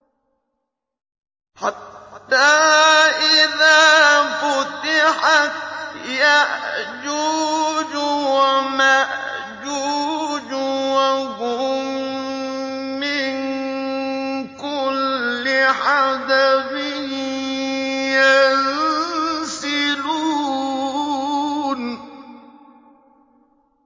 حَتَّىٰ إِذَا فُتِحَتْ يَأْجُوجُ وَمَأْجُوجُ وَهُم مِّن كُلِّ حَدَبٍ يَنسِلُونَ